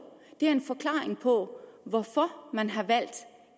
er en forklaring på hvorfor man har valgt